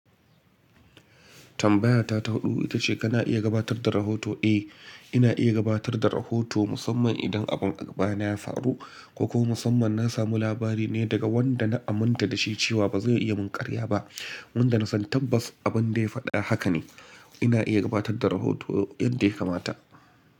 Tambaya ta ta hudu ita ce kana iya gabatar da rahoto? Eh, ina iya gabatar da rahoto musamman idan abun agaba na ya faru kokuma musamman na samu labari ne daga wanda na aminta da shi cewa ba zai iya mun karya ba, wanda na san tabbas abin da ya faɗa haka ne. Ina iya gabatar da rahoto yadda ya kamata.